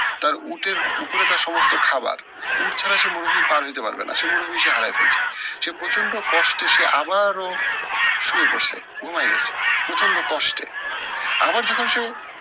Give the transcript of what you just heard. তার উটের উপরে তার সমস্ত খাওয়ার। উট ছাড়া সে মরুভুমি পার হইতে পারবে না, সে মরুভুমি সে হারায় ফেলছে। সে প্রচন্ড কষ্টে সে আবারো শুয়ে পড়ছে, ঘুমায় গেছে। প্রচন্ড কষ্টে আবার যখন সে,